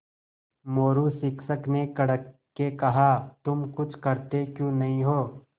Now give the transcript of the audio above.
मोरू शिक्षक ने कड़क के कहा तुम कुछ करते क्यों नहीं हो